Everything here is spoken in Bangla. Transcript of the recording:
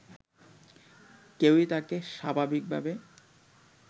কেউই তাকে স্বাভাবিকভাবে